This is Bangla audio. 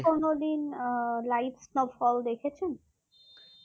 কোনোদিন আহ live snowfall দেখেছেন